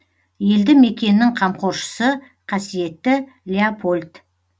елді мекеннің қамқоршысы қасиетті леопольд